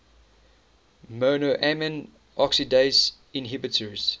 monoamine oxidase inhibitors